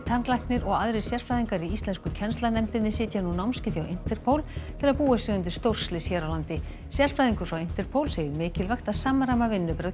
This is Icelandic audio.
tannlæknir og aðrir sérfræðingar í íslensku kennslanefndinni sitja nú námskeið hjá Interpol til að búa sig undir stórslys hér á landi sérfræðingur frá Interpol segir mikilvægt að samræma vinnubrögð